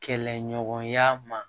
Kɛlɛɲɔgɔnya ma